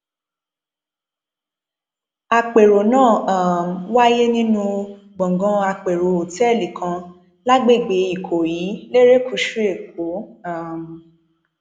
àpérò náà um wáyé nínú gbọngàn àpérò òtẹẹlì kan lágbègbè ikọyí lerékùṣù èkó um